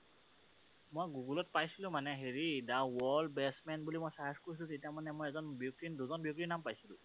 মই গুগলত পাইছিলো মানে, হেৰি the worlds best man বুলি মই search কৰিছিলোঁ তেতিয়া মানে মই এজন ব্যক্তি, দুজন ব্যক্তিৰ নাম পাইছিলো।